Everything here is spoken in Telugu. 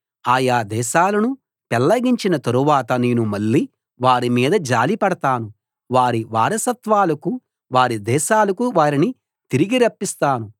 ఆ యా దేశాలను పెళ్ళగించిన తరువాత నేను మళ్ళీ వారి మీద జాలిపడతాను వారి వారసత్వాలకు వారి దేశాలకు వారిని తిరిగి రప్పిస్తాను